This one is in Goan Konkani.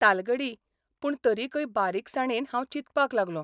तालगडी पूण तरिकय बारीकसाणेन हांव चिंतपाक लागलों.